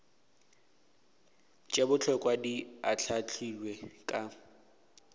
tše bohlokwa di ahlaahlilwe ka